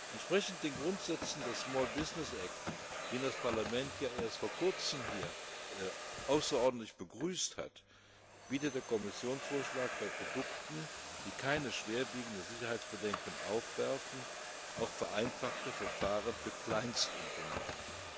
Entsprechend den Grundsätzen des Small Business Act, den das Parlament ja erst vor kurzem hier außerordentlich begrüßt hat, bietet der Kommissionsvorschlag bei Produkten, die keine schwerwiegenden Sicherheitsbedenken aufwerfen, auch vereinfachte Verfahren für Kleinstunternehmen.